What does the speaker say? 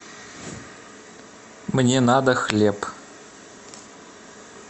мне надо хлеб